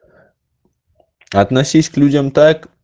относись к людям так